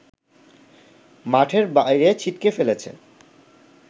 মাঠের বাইরে ছিটকে ফেলেছে